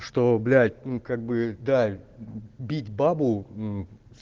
что блять ну как бы да бить бабу ну